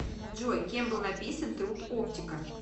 джой кем был написан труд оптика